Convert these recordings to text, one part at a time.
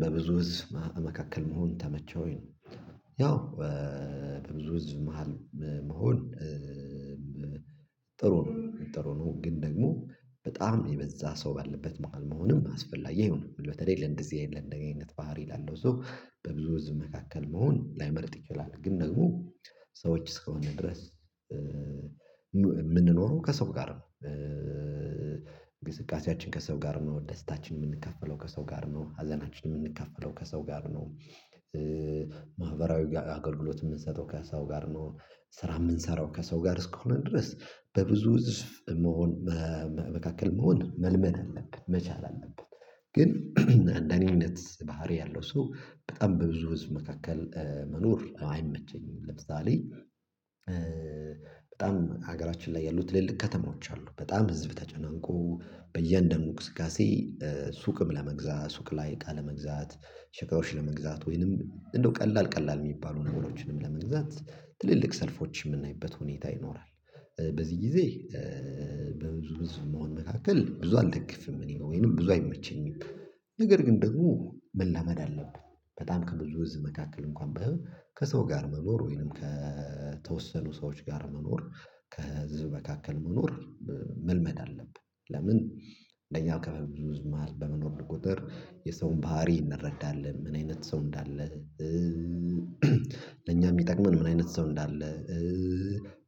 በብዙ ህዝብ መካከል መሆን ተመቸህ ወይ ነው? ያው በብዙ ህዝብ መሃል መሆን ጥሩ ነው ጥሩ ነው። ግን ደግሞ በጣም የበዛ ሰው ባለበት መሃል መሆንም አስፈላጊ አይሆንም በተለይ ለእንደዚህ አይነት ለኔ አይነት ባህሪ ላለው ሰው በብዙ ህዝብ መካከል መሆን ላይመርጥ ይችላል። ግን ደግሞ ሰዎች እስከሆነ ድረስ የምንኖረው ከሰው ጋር ነው። እንቅስቃሴያችን ከሰው ጋር ነው ደስታችን የምንካፈለው ከሰው ጋር ነው ሀዘናችን የምንከፈለው ከሰው ጋር ነው። ማህበራዊ አገልግሎት የምንሰጠው ከሰው ጋር ነው። ስራ የምንሰራው ከሰው ጋር እስከሆነ ድረስ በብዙ ህዝብ መሆን መካከል መሆን መልመድ አለብን መቻል አለብን። ግን እንደኔ አይነት ባህሪ ያለው ሰው በጣም በብዙ ህዝብ መካከል መኖር አይመቸኝም። ለምሳሌ በጣም ሀገራችን ላይ ያሉት ትልልቅ ከተማዎች አሉ በጣም ህዝብ ተጨናንቆ በእያንዳንዱ እንቅስቃሴ ሱቅም ለመግዛት ሱቅ ላይ እቃ መግዛት ሸካዎች ለመግዛት ወይንም እንደው ቀላል ቀላል የሚባሉ ነገሮችንም ለመግዛት ትልልቅ ሰልፎች የምናይበት ሁኔታ ይኖራል። በዚህ ጊዜ በብዙ ህዝብ መሆን መካከል ብዙ አልደግፍም እኔ ወይንም ብዙ አይመቸኝም። ነገር ግን ደግሞ መላመድ አለብኝ። በጣም ከብዙ ህዝብ መካከል እንኳን ባይሆን ከሰው ጋር መኖር ወይንም ከተወሰኑ ሰዎች ጋር መኖር ከህዝብ መካከል መኖር። መልመድ አለብህ። ለምን አንደኛ ከበብዙ ህዝብ መሃል በመኖር ቁጥር የሰውን ባህሪ እንረዳለን ምን አይነት ሰው እንዳለ። ለኛ የሚጠቅመን ምን አይነት ሰው እንዳለ።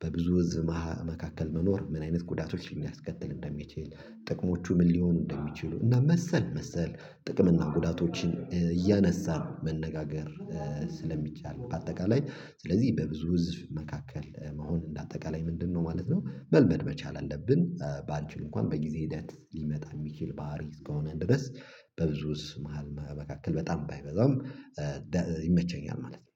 በብዙ ህዝብ መካከል መኖር ምን አይነት ጉዳቶችን ሊያስከትል እንደሚችል ጥቅሞቹ ምን ሊሆኑ እንደሚችሉ እና መሰል መሰል ጥቅም እና ጉዳቶችን እያነሳን ነው መነጋገር። ስለሚቻል በአጠቃላይ ስለዚህ በብዙ ህዝብ መካከል መሆን እንደ አጠቃላይ ምንድነው ማለት ነው? መልመድ መቻል አለብን። ባንቺል እንኳን በጊዜ ሂደት ሊመጣ የሚችል ባህሪ እስከሆነ ድረስ በብዙ ህዝብ መሃል መካከል በጣም ባይበዛም ይመቸኛል ማለት ነው